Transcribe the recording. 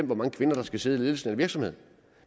hvor mange kvinder der skal sidde i ledelsen i en virksomhed